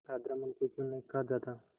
अधर्म उनको क्यों नहीं खा जाता